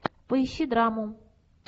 поищи драму